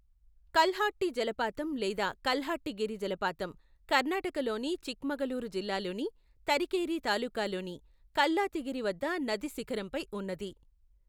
కల్హట్టి జలపాతం లేదా కల్హట్టిగిరి జలపాతం కర్ణాటకలోని చిక్మగళూరు జిల్లాలోని తరికేరీ తాలూకాలోని కల్లాతిగిరి వద్ద నది శిఖరంపై ఉన్నది.